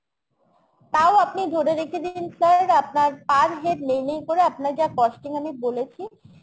তাও আপনি ধরে রেখে দিন sir, আপনার per head নেই, করে আপনার যা costing আমি বলেছি